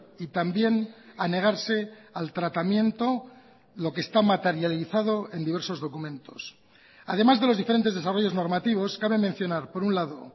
y también a negarse al tratamiento lo que está materializado en diversos documentos además de los diferentes desarrollos normativos cabe mencionar por un lado